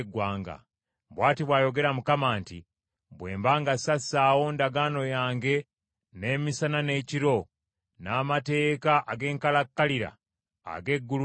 Bw’ati bw’ayogera Mukama nti, ‘Bwe mba nga sassaawo ndagaano yange n’emisana n’ekiro n’amateeka ag’enkalakkalira ag’eggulu n’ensi,